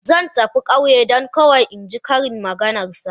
Zan tafi ƙauye don kawai in ji ƙarin maganar sa.